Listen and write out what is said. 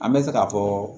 An bɛ se k'a fɔ